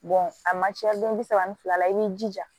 a man ca den bi saba ni fila la i b'i jija